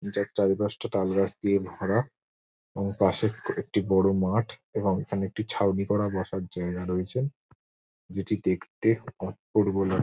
নিচে তালগাছটা তালগাছ দিয়ে ভরা। ও পাশে একটি বড় মাঠ এবং এখানে একটি ছাউনি করে বসার জায়গা রয়েছে। যেটি দেখতে অপূর্ব লাগ --